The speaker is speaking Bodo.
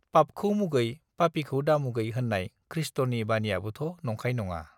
पापखौ मुगै पापिखौ दामुगै होन्नाय खृष्टनि बानियाबोथ नंखाय नङा